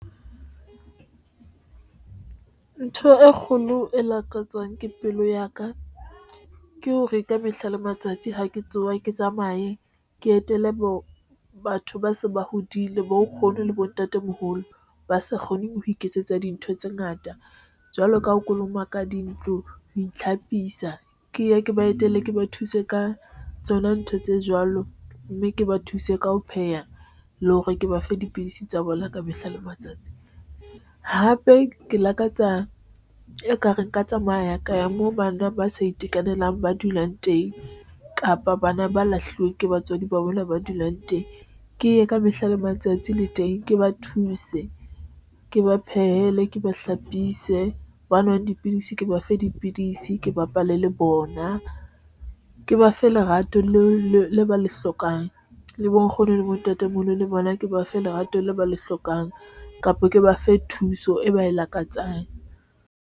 Ntho e kgolo e lakatswang ke pelo ya ka ke ho reka mehla le matsatsi ha ke tsoha, ke tsamaye ke etele bo batho ba se ba hodile bo nkgono le bontatemoholo ba sa kgoneng ho iketsetsa dintho tse ngata jwalo ka ho kolomaka dintlo ho itlhapisa. Ke ye ke ba etelle ke ba thuse ka tsona ntho tse jwalo mme ke ba thuse ka ho pheha le hore ke ba fe dipidisi tsa bona ka mehla le matsatsi hape ke lakatsa ekare nka tsamaya ka ya moo bana ba sa itekanelang, ba dulang teng kapa bana ba lahluweng ke batswadi ba bona ba dulang teng, ke ye ka mehla le matsatsi le teng ke ba thuse ke ba phehele ke ba hlapise, ba nwang dipidisi ke ba fe dipidisi, ke bapale le bona, ke ba fe lerato leo ba le hlokang le bo nkgono le bontate le bona ke ba fe lerato leo ba le hlokang, kapa ke ba fe thuso eo ba lakatsang.